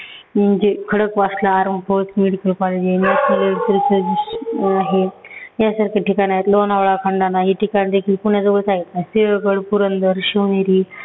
म्हणजे खडकवासला यासारखे ठिकाण आहेत. लोणावळा, खंडाळा हे ठिकाण देखिल पुण्याजवळच आहेत. सिंहगड, पुरंदर, शिवनेरी